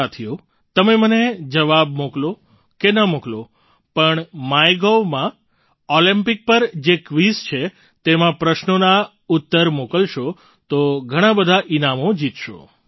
સાથીઓ તમે મને જવાબ મોકલો કે ન મોકલો પણ MyGovમાં ઑલિમ્પિક પર જે ક્વિઝ છે તેમાં પ્રશ્નોના ઉત્તર મોકલશો તો ઘણાં બધાં ઈનામો જીતશો